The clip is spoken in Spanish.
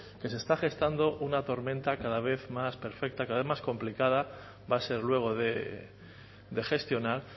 que se está gestando una tormenta cada vez más perfecta cada vez más complicada va a ser luego de gestionar